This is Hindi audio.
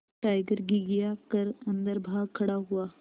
टाइगर घिघिया कर अन्दर भाग खड़ा हुआ